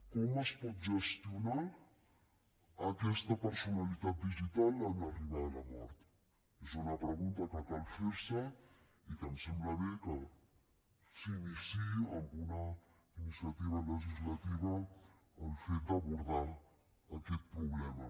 com es pot gestionar aquesta personalitat digital en arribar a la mort és una pregunta que cal fer se i que em sembla bé que s’iniciï amb una iniciativa legislativa el fet d’abordar aquest problema